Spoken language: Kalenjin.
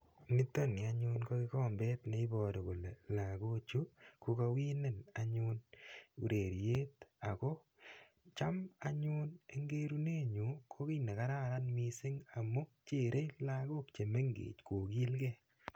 nitoni ko kikombet neibaru kole lakochu kokawinen ureriet ako cham eng gerunet nyu ko kiit negareran mising amuu chere lagok chemengech anyun kogilkei.